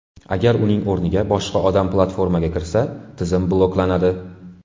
Agar uning o‘rniga boshqa odam platformaga kirsa, tizim bloklanadi.